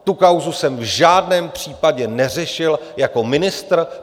Tu kauzu jsem v žádném případě neřešil jako ministr.